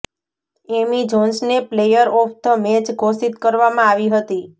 એમી જોન્સને player of the match ઘોષિત કરવામાં આવી હતી